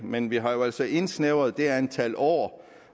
men vi har altså indsnævret det antal år